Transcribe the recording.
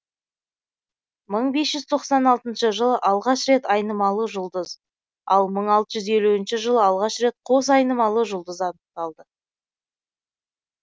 мың бес жүз тоқсан алтыншы жылы алғаш рет айнымалы жұлдыз ал мың алты жүз елуінші жылы алғаш рет қос айнымалы жұлдыз анықталды